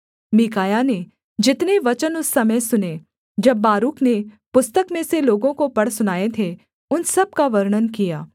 मीकायाह ने जितने वचन उस समय सुने जब बारूक ने पुस्तक में से लोगों को पढ़ सुनाए थे उन सब का वर्णन किया